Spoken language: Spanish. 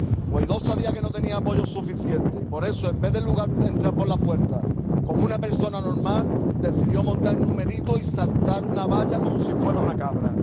Guaidó sabía que no tenía apoyo suficiente y por eso, en vez de entrar por la puerta como una persona normal, decidió montar el numerito y saltar una valla como si fuera una cabra.